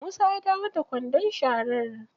Musa ya dawo da kwandon sharar.